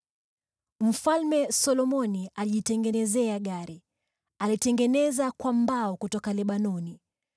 Mfalme Solomoni alijitengenezea gari; alilitengeneza kwa mbao kutoka Lebanoni.